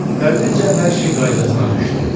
Tədricən hər şey qaydasına düşdü.